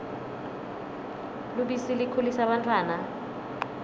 lubisi likhulisa bantfwana